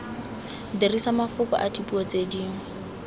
dirisa mafoko adipuo tse dingwe